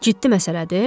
Ciddi məsələdir?